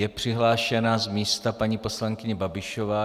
Je přihlášena z místa paní poslankyně Babišová.